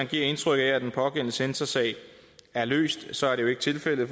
givet indtryk af at den pågældende censorsag er løst så er det jo ikke tilfældet